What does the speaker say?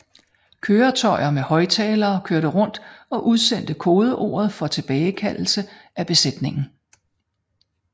Køretøjer med højttalere kørte rundt og udsendte kodeordet for tilbagekaldelse af besætningen